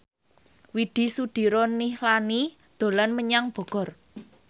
Widy Soediro Nichlany dolan menyang Bogor